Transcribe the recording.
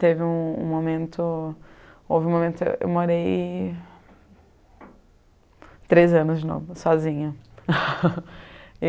Teve um um momento... Houve um momento que eu morei... Três anos de novo, sozinha.